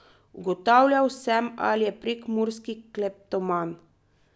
Ugotavljal sem, ali je prekmurski kleptoman.